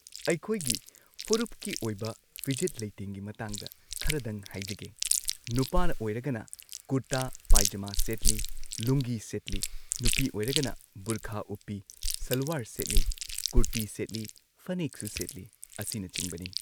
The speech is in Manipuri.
ꯑꯩꯈꯣꯏꯒꯤ ꯐꯨꯔꯨꯞꯀꯤ ꯑꯣꯏꯕ ꯐꯤꯖꯦꯠ ꯂꯩꯇꯦꯡꯒꯤ ꯃꯇꯥꯡꯗ ꯈꯔꯗꯪ ꯍꯥꯏꯖꯒꯦ ꯅꯨꯄꯥꯅ ꯑꯣꯏꯔꯒꯅ ꯀꯨꯔꯇꯥ ꯄꯩꯖꯃ ꯁꯦꯠꯂꯤ ꯂꯨꯡꯒꯤ ꯁꯦꯠꯂꯤ ꯅꯨꯄꯤ ꯑꯣꯏꯔꯒꯅ ꯕꯨꯔꯈꯥ ꯎꯞꯄꯤ ꯁꯜꯋꯥꯔ ꯁꯦꯠꯂꯤ ꯀꯨꯔꯇꯤ ꯁꯦꯠꯂꯤ ꯐꯅꯦꯛꯁꯨ ꯁꯦꯠꯂꯤ ꯑꯁꯤꯅꯆꯤꯡꯕꯅꯤ꯫